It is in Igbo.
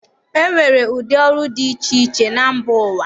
E nwere ụdị ọrụ dị iche iche na mba ụwa.